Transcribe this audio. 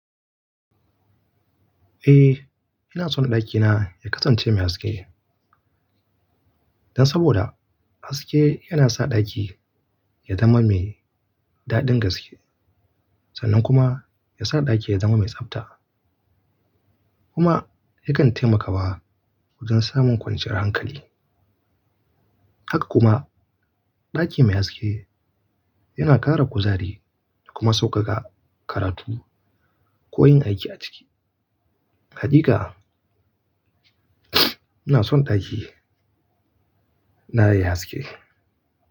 Eh, ina so ɗakina ya kasance mai haske. Dan saboda haske yana sa ɗaki ya zama mai daɗin gaske sannan kuma yasa ɗaki ya zama mai tsabta. Kuma yakan taimakawa wajen samun kwanciyar hankali. Hakka kuma ɗaki mai haske yana ƙara kuzari kuma sauƙaƙa karatu ko yin aiki a ciki. Haƙika ina son ɗakina yayi haske.